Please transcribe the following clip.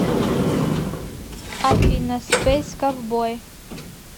афина спэйс ковбой